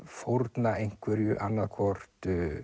fórna einhverju annað hvort